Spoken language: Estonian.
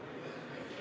Selline lugu.